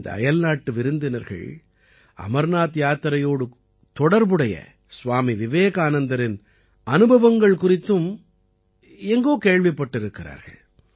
இந்த அயல்நாட்டு விருந்தினர்கள் அமர்நாத் யாத்திரையோடு தொடர்புடைய சுவாமி விவேகானந்தரின் அனுபவங்கள் குறித்தும் எங்கோ கேள்விப்பட்டிருக்கிறார்கள்